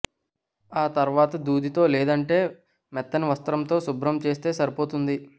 ఆ తరువాత దూదితో లేదంటే మెత్తని వస్త్రంతో శుభ్రం చేస్తే సరిపోతుంది